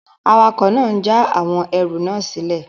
Awakọ̀ náà n já àwọn ẹrù náà sílẹ̀